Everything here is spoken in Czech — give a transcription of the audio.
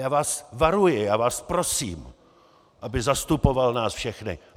Já vás varuji, já vás prosím, aby zastupoval nás všechny.